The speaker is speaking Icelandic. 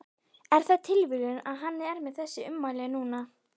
Er það tilviljun að hann er með þessi ummæli núna?